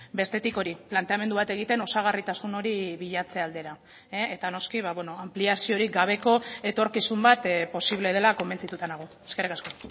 bestetik hori planteamendu bat egiten osagarritasun hori bilatze aldera eta noski anpliaziorik gabeko etorkizun bat posible dela konbentzituta nago eskerrik asko